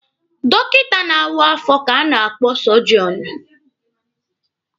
Dọkịta na-awa afọ ka a na-akpọ sọjọọnụ.